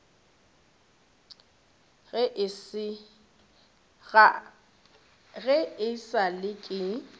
ge e sa le ke